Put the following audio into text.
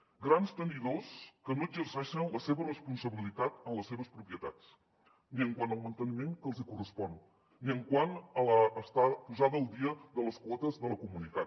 grans tenidors que no exerceixen la seva responsabilitat en les seves propietats ni quant al manteniment que els hi correspon ni quant a la posada al dia de les quotes de la comunitat